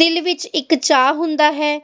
ਦਿਲ ਵਿਚ ਇੱਕ ਚਾਹ ਹੁੰਦਾ ਹੈ